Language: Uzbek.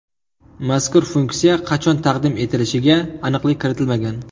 Mazkur funksiya qachon taqdim etilishiga aniqlik kiritilmagan.